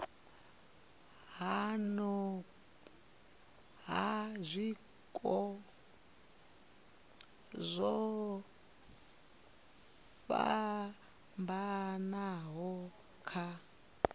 ha zwiko zwo fhambanaho kha